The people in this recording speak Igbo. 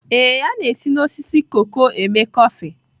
Ee, a na-esi na osisi koko eme kọfị